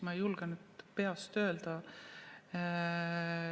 Ma ei julge nüüd peast öelda.